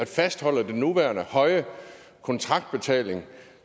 fastholde den nuværende høje kontraktbetaling